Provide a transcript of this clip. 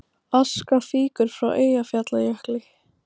Aska fýkur frá Eyjafjallajökli